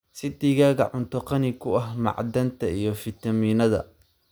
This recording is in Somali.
Sii digaaga cunto qani ku ah macdanta iyo fiitamiinnada.